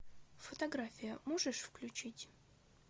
фотография можешь включить